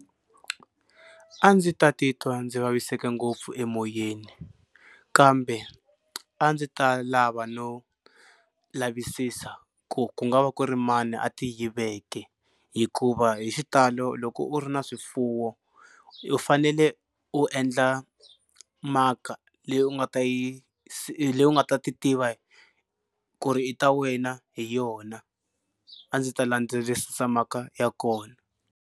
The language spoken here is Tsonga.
A ndzi ta titwa ndzi vaviseke ngopfu emoyeni kambe a ndzi ta lava no lavisisa ku ku nga va ku ri mani a ti yiveke hikuva hi xitalo loko u ri na swifuwo u fanele u endla mark-a leyi u nga ta yi leyi u nga ta ti tiva ku ri i ta wena hi yona a ndzi ta landzelerisa mark-a ya kona.